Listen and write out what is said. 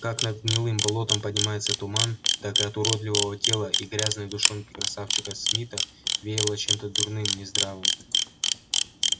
как над гнилым болотом поднимается туман так и от уродливого тела и грязной душонки красавчика смита веяло чем то дурным нездоровым